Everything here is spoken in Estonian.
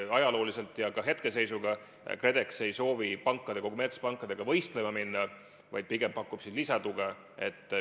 Ajalooliselt ja ka hetkeseisuga KredEx ei soovi kommertspankadega võistlema minna, vaid pigem pakub lisatuge.